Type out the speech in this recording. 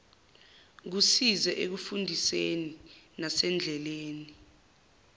kusize ekufundiseni nasendleleni